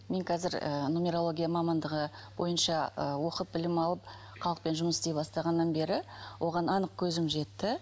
мен қазір ыыы нумерология мамандығы бойынша ы оқып білім алып халықпен жұмыс істей бастағаннан бері оған анық көзім жетті